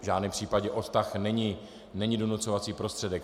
V žádném případě odtah není donucovací prostředek.